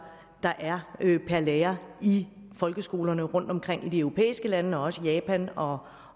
der er per lærer i folkeskolerne rundtomkring i de europæiske lande og også i japan og